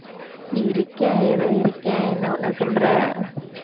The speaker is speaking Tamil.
இருக்கேன் ஏதோ இருக்கேன் என்ன பண்ண சொல்ற